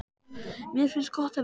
Mér finnst gott að vita það.